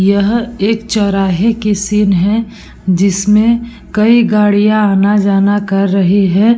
यह एक चौराहे के सीन है जिसमें कई गाड़ियां आना-जाना कर रही है।